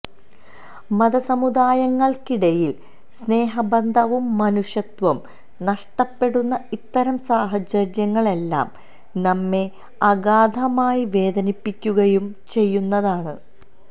മതസമുദായങ്ങള്ക്കിടയില് സ്നേഹബന്ധവും മനുഷ്യത്വവും നഷ്ടപ്പെടുന്ന ഇത്തരം സാഹചര്യങ്ങളെല്ലാം നമ്മെ അഗാധമായി വേദനിപ്പിക്കുകയും ചെയ്യുന്നതാണ്